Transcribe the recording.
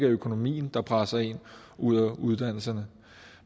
økonomien der presser en ud af uddannelsen